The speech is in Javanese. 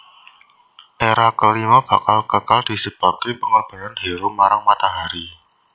Era kelima bakal kekal disebabke pengorbanan hero marang matahari